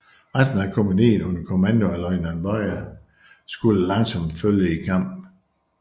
Resten af kompagniet under kommando af løjtnant Beyer skulle langsomt følge i kamp